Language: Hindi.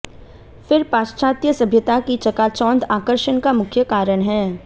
फिर पाश्चात्य सभ्यता की चकाचौंध आकर्षण का मुख्य कारण है